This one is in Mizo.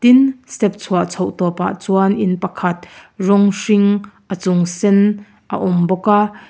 step chhuah chhoh tawpah chuan in pakhat rawng hring a chung sen a awm bawk a.